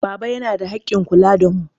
Baba yana da haƙƙin kula da mu.